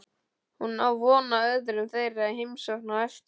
Hún á von á öðrum þeirra í heimsókn á eftir.